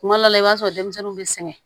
Kuma dɔ la i b'a sɔrɔ denmisɛnninw bɛ sɛgɛn